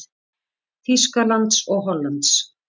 Þýskalands og Hollands.